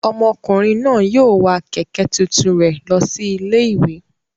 Ọmọkùnrin náà yóò wa kẹ̀kẹ́ tuntun rẹ̀ lọ sí ilé-ìwé.